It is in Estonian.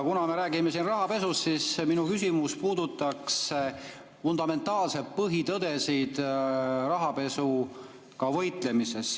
Kuna me räägime siin rahapesust, siis minu küsimus puudutab fundamentaalseid põhitõdesid rahapesuga võitlemisel.